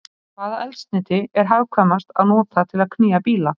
Hvaða eldsneyti er hagkvæmast að nota til að knýja bíla?